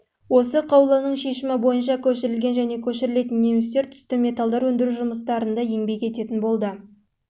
осы қаулының шешімі бойынша көшірілген және көшірілетін немістер түсті металдар өндіру жұмыстарында еңбек ететін болды